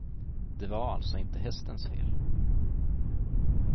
Det var alltså inte hästens fel.